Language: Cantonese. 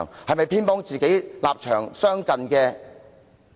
是否偏幫與自己立場相近的人？